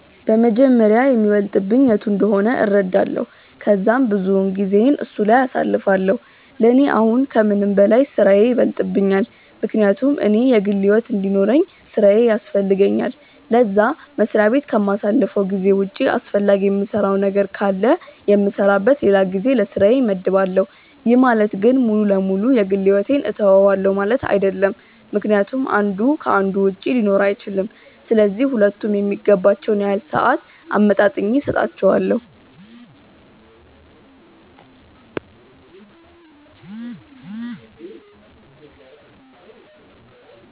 በመጀመሪያ የሚበልጥብኝ የቱ እንደሆነ እረዳለው ከዛም ብዙውን ጊዜየን እሱ ላይ አሳልፋለው፤ ለኔ አሁን ከምንም በላይ ስራዬ ይበልጥብኛል ምክንያቱም እኔ የግል ሕይወት እንዲኖርውኝ ስራዬ ያስፈልገኛል ለዛ፤ መስሪያ በት ከማሳልፈው ጊዜ ውጪ አስፈላጊ የምሰራው ነገር ካለ የምሰራበት ለላ ጊዜ ለስራዬ መድባለው፤ ይህ ማለት ግን ሙሉ ለ ሙሉ የ ግል ሕይወቴን ትውዋለው ማለት አይድለም ምክንያቱም አንዱ ከ አንዱ ውጪ ሊኖር አይችልም፤ ስለዚህ ሁለቱም የሚገባቸውን ያህል ሰአት አመጣጥኜ ሰጣቸዋለው።